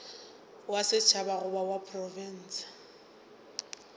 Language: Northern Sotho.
wa setšhaba goba wa profense